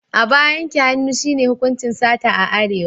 A baya, yanke hannu shi ne hukuncin sata a Arewa.